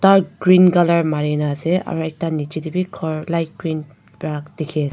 aro green colour mari na ase aro ekta nichae tae bi khor light green pra dikhi--